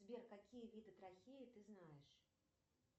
сбер какие виды трахеи ты знаешь